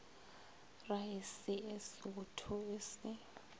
raese e sootho e se